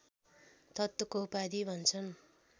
तत्त्वको उपाधि भन्छन्